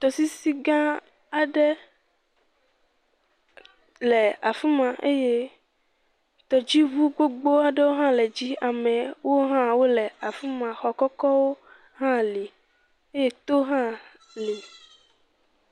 Tɔsisi gã aɖe le afi ma eye tɔdziŋu gbogbo aɖewo hã le dzi eye amewo hã le afi ma, xɔ kɔkɔwo hã li eye towo hã li.